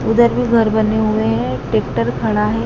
उधर भी घर बने हुए हैं। टैक्टर खड़ा है।